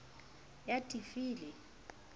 ya d e f le